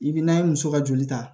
I bi n'a ye muso ka joli ta